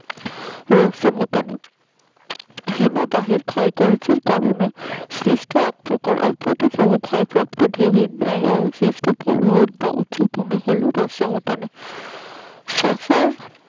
হিমবাহের ক্ষয় কার্যের কারণে সৃষ্ট আকৃত ও ক্ষয়ক্ষতির পড়লে ভূমির নেয় অবশিষ্ট